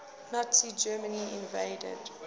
nazi germany invaded